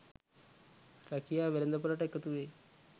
රැකියා වෙළඳ පොළට එකතුවේ